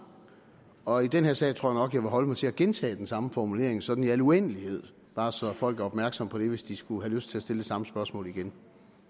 og i den her sag tror jeg nok at jeg vil holde mig til at gentage den samme formulering sådan i al uendelighed bare så folk er opmærksomme på det hvis de skulle have lyst til at stille det samme spørgsmål igen